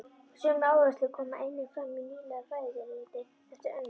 Sömu áherslur koma einnig fram í nýlegu fræðiriti eftir Önnu